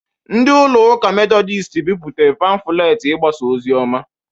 Ndị ụlọ ụka Medodịst bịpụtere pamfulet igbasa ozioma